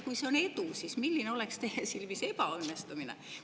Kui see on edu, siis milline oleks teie silmis ebaõnnestumine?